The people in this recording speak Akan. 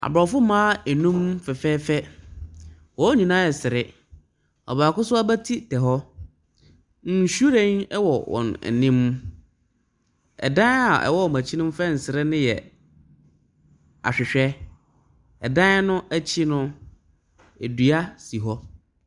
Aborɔfo mmaa nnum fɛfɛɛfɛ, wɔn nyinaa ɛresere, ɔbaako nso abatiri tɛ hɔ. Nhyiren wɔ wɔn anim, dan a ɛwɔ wɔn akyi no a fɛnse no yɛ ahwehwɛ. Dan no akyi no, dua si hɔ.